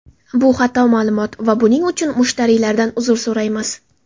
Bu xato ma’lumot va buning uchun mushtariylardan uzr so‘raymiz.